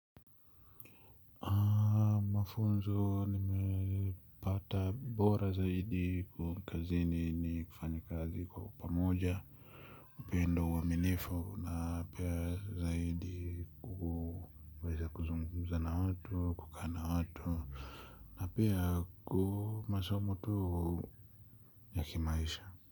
Mafunzo nimepata bora zaidi kwa kazini ni kufanya kazi kwa upamoja upendo uaminifu na pia zaidi kuweza kuzungumza na watu kukaa na watu na pia masomo tu ya kimaisha.